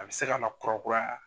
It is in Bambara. A bi se ka na kurakuraya.